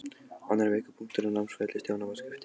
Annar veikur punktur á námsferli Stjána var skriftin.